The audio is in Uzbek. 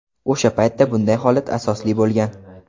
O‘sha paytda bunday holat asosli bo‘lgan.